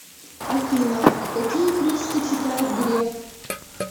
афина какие книжки читает греф